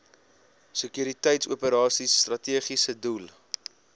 sekuriteitsoperasies strategiese doel